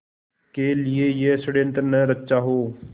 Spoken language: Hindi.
के लिए यह षड़यंत्र न रचा हो